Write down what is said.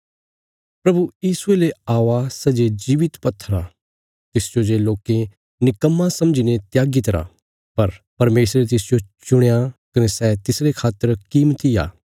प्रभु यीशुये ले औआ सै जे जीवित पत्थर आ तिसजो जे लोके निकम्मा समझीने त्यागी तरा पर परमेशरे तिसजो चुणया कने सै तिसरे खातर कीमती आ